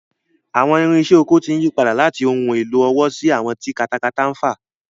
Àwọn irinṣẹ́ oko ti ń yí padà láti ohun èlò ọwọ́ sí àwọn tí katakata ń fà.